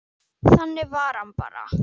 Þannig var hann bara.